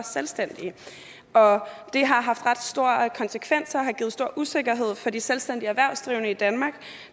selvstændige og det har haft ret store konsekvenser og givet stor usikkerhed for de selvstændigt erhvervsdrivende i danmark